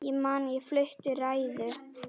Ég man ég flutti ræðu.